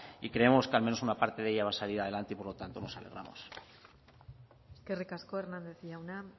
y creemos que al menos una parte de ella va a salir adelante y por lo tanto nos alegramos eskerrik asko hernández jauna